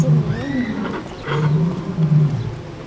тем не менее я надеюсь